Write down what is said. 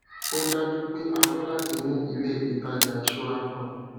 ó dájú pé a fé láti ní ilé ìtajà ìṣúra kan